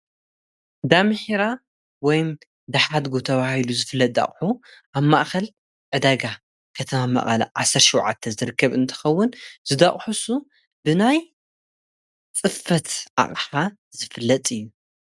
ከም ጠረጴዛ፣ መንበር፣ ዓራት ዝኣመሰሉ ናይ ፍርናሽ ኣቑሑት ዝገዝኡን ዝሸጡን ትካላት ንግዲ እዮም። ንገዛውቲ፡ ኣብያተ ጽሕፈትን ንግዳዊ ቦታታትን ዝኸውን ፍርናሽ የቕርቡ። ነጋዶ ፍርናሽ ብሾውሩም፡ ድኳናት ወይ ብኢንተርነት መድረኻት ክሰርሑ ይኽእሉ።